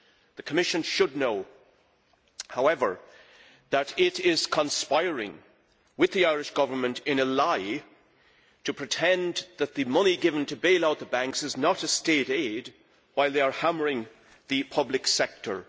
The Commission should know, however, that it is conspiring with the Irish Government in a lie to pretend that the money given to bail out the banks is not State aid while, at the same time, hammering the public sector.